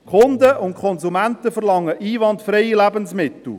Die Kunden und Konsumenten verlangen einwandfreie Lebensmittel.